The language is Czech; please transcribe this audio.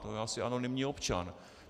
To je asi anonymní občan.